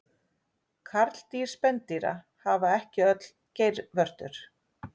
Karldýr spendýra hafa ekki öll geirvörtur.